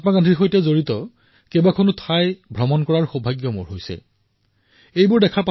এয়া মোৰো সৌভাগ্য যে পূজ্য মহাত্মা গান্ধীৰ সৈতে জড়িত বিভিন্ন গুৰুত্বপূৰ্ণ স্থানলৈ গৈ সেৱা জনাবলৈ পাৰিছো